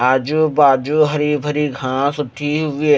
आजू-बाजू हरी भरी घास उठी हुई हैं।